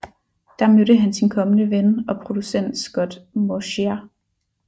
Der mødte han sin kommende ven og producent Scott Mosier